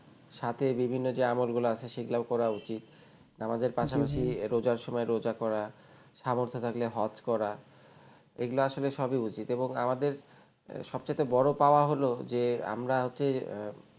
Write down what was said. সাথে বিভিন্ন যে আমলগুলো আছে সেগুলো করা উচিত আমাদের পাশাপাশি রোজার সময় রোজা করা সামর্থ্য থাকলে হজ করা এগুলো আসলে সবই উচিত এবং আমাদের সবচাইতে বড় পাওয়া হল যে আমরা হচ্ছে